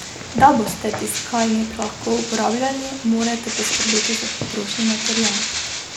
Da boste tiskalnik lahko uporabljali, morate poskrbeti za potrošni material.